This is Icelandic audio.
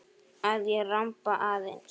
Að ég ramba aðeins.